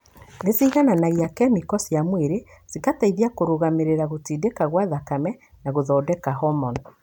Nĩ cigananagia kemiko cia mwĩrĩ, cikateithia kũrũngamĩrĩra gũtindĩka kwa thakame na gũthondeka hormoni.